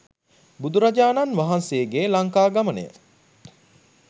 බුදුරජාණන් වහන්සේගේ ලංකාගමනය,